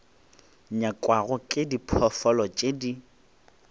nyakwago ke diphoofolo tše di